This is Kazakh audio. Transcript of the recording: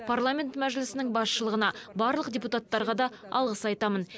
парламент мәжілісінің басшылығына барлық депутаттарға да алғыс айтамын